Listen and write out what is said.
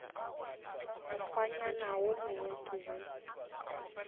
mokgwanyana wo mongwe ke be